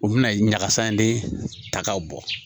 U bɛna ɲagasa in de ta k'a bɔ